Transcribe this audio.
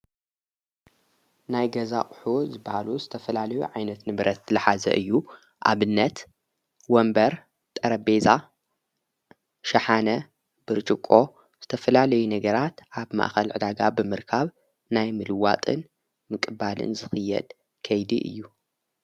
ናይ ገዛቕሑ ዝበሉ ዝተፈላለዩ ዓይነት ንብረት ለሓዘ እዩ ኣብነት ወንበር ጠረቤዛ ሻሓነ ብርጭቆ ዝተፍላለዩ ነገራት ኣብ ማእኸል ዕዳጋ ብምርካብ ናይ ምልዋጥን ምቕባልን ዝኽየድ ከይድ እዩ።